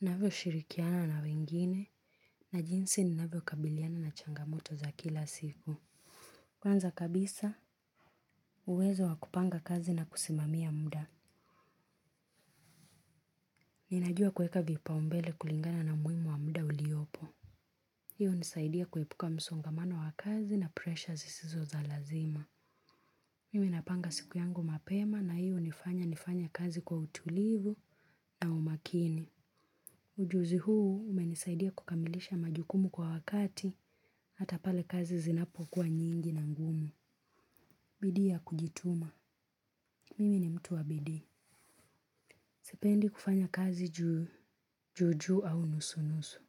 Navyo shirikiana na wengine na jinsi ni navyo kabiliana na changamoto za kila siku. Kwanza kabisa uwezo wakupanga kazi na kusimamia muda. Ninajua kueka vipa umbele kulingana na muimu wa muda uliopo. Hii inisaidia kuepuka msongamano wa kazi na pressures zisizo za lazima. Mimi napanga siku yangu mapema na hii unifanya nifanye kazi kwa utulivu na umakini. Ujuzi huu umenisaidia kukamilisha majukumu kwa wakati hata pale kazi zinapo kuwa nyingi na ngumu. Bidi ya kujituma. Mimi ni mtu wa bidii. Sipendi kufanya kazi juujuu au nusu-nusu.